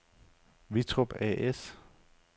Wittrup A/S